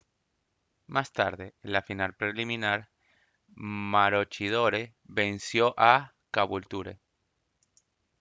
más tarde en la final preliminar maroochydore venció a caboolture